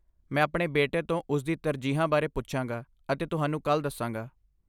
ਮੈਂ ਆਪਣੇ ਬੇਟੇ ਤੋਂ ਉਸਦੀ ਤਰਜੀਹਾਂ ਬਾਰੇ ਪੁੱਛਾਂਗਾ ਅਤੇ ਤੁਹਾਨੂੰ ਕੱਲ੍ਹ ਦੱਸਾਂਗਾ।